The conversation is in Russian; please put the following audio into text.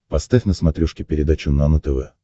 поставь на смотрешке передачу нано тв